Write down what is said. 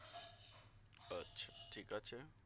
আচ্ছা ঠিক আছে